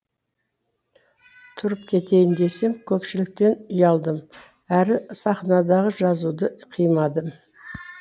тұрып кетейін десем көпшіліктен ұялдым әрі сахнадағы жазуды қимадым